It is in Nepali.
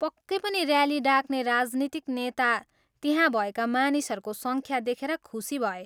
पक्कै पनि ऱ्याली डाक्ने राजनीतिक नेता त्यहाँ भएका मानिसहरूको सङ्ख्या देखेर खुसी भए।